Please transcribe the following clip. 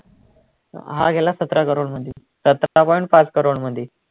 हा गेला सतरा crores मधी सतरा point पाच crores मधी